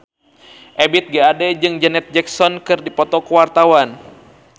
Ebith G. Ade jeung Janet Jackson keur dipoto ku wartawan